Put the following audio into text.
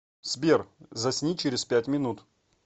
сбер засни через пять минут